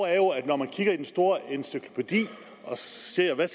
er jo at når man kigger i den store encyklopædi og ser hvad